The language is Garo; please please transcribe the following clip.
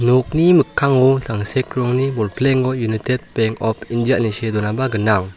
nokni mikkango tangsek rongni bolplengo unetet beng op india ine see donaba gnang.